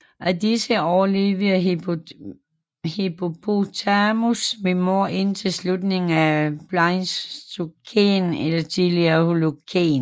Af disse overlevede Hippopotamus minor indtil slutningen af Pleistocæn eller tidlig Holocæn